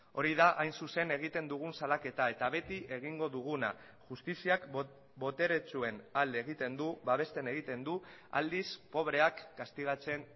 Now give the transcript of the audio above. hori da hain zuzen egiten dugun salaketa eta beti egingo duguna justiziak boteretsuen alde egiten du babesten egiten du aldiz pobreak kastigatzen